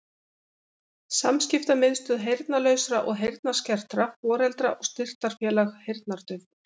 Samskiptamiðstöð heyrnarlausra og heyrnarskertra Foreldra- og styrktarfélag heyrnardaufra